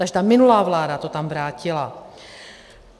Takže ta minulá vláda to tam vrátila.